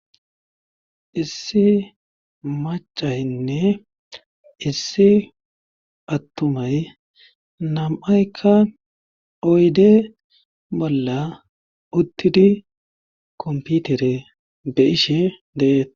Issi macaynne issi attumay nam7aykka oyde bolla uttidi komputere be ishe deeet